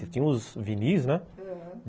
Ele tinha uns vinis, né? aham